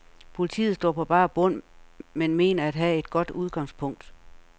Politiet står på bar bund, men mener at have et godt udgangspunkt.